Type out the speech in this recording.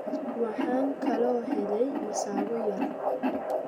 Waxaan kaloo helay masago yar.